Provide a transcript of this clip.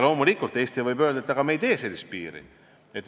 Loomulikult, Eesti võib öelda, et me siiski ei tee sellist piiri.